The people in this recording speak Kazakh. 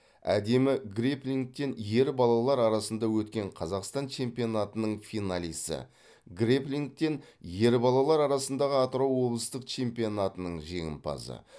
әдемі греплингтен ер балалар арасында өткен қазақстан чемпионатының финалисі грэплингтен ер балалар арасындағы атырау облыстық чемпионатының жеңімпазы